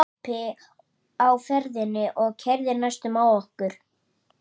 Allir að kaupa bréf